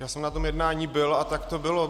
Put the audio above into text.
Já jsem na tom jednání byl a tak to bylo.